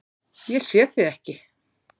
Ég sé þig ekki.